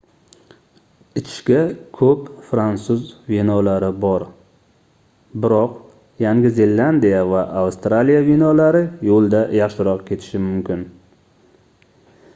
ichishga koʻp fransuz vinolari bor biroq yangi zelandiya va avstraliya vinolari yoʻlda yaxshiroq ketishi mumkin